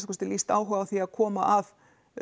kosti lýst áhuga á því að koma að